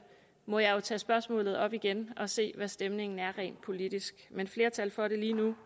må jeg jo tage spørgsmålet op igen og se hvad stemningen er rent politisk men flertal for det lige nu